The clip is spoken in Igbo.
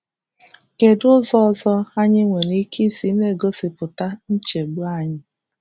Kedụ ụzọ ọzọ anyị nwere ike isi na-egosipụta nchegbu anyị?